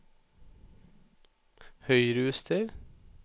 Høyrejuster